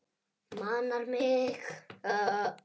Manar mig.